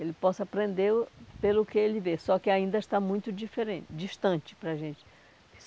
Ele possa aprender o pelo que ele vê, só que ainda está muito diferente distante para a gente.